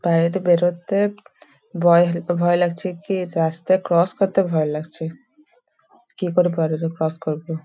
বাইরে বেরোতে ভয় ভয় লাগছে। কিরাস্তা ক্রস করতে ভয়ে লাগছে কি করে ক্রস করবো।